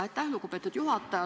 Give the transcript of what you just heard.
Aitäh, lugupeetud juhataja!